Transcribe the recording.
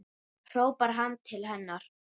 hrópar hann til hennar.